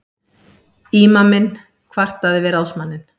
Ímaminn kvartaði við ráðsmanninn.